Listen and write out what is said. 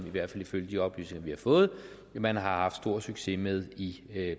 i hvert fald ifølge de oplysninger vi har fået man har haft stor succes med i